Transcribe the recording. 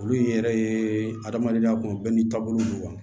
Olu y'i yɛrɛ ye adamadenya kun bɛɛ n'i taabolo don wa